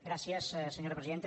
gràcies senyora presidenta